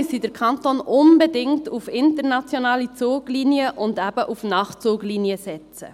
Deshalb müsste der Kanton unbedingt auf internationale Zuglinien und eben auf Nachtzuglinien setzen.